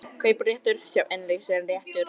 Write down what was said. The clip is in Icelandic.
Kaupréttur, sjá innlausnarréttur